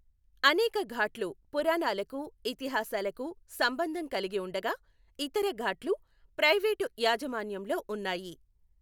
అనేక ఘాట్లు పురాణాలకు ఇతిహాసాలకు సంబంధం కలిగి ఉండగా, ఇతర ఘాట్లు ప్రైవేట్ యాజమాన్యంలో ఉన్నాయి.